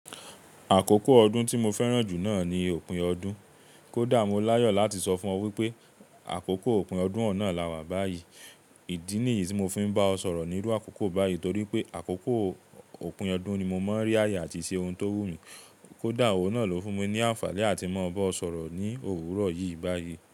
Àkókò ọdún tí mo fẹ́ràn jù náà ni òpin ọdún. Kódá mo láyò láti sọ fún ọ wípé àkókò òpin ọdún ọun na láwa báyìí. Ìdí nìyí tí mo fi ń bá ọ sọ̀rọ̀ nírú àkókò báyìí torí pé àkókò òpin ọdún ni mo mọ ń rí ààyè àti ṣe ohun tó wù mí. Kódá òun náà ló fún mi ní àǹfààní áti mọ bá ọ sọ̀rọ̀ ní òwúrọ̀ yìí báyìí.